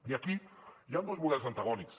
i aquí hi ha dos models antagònics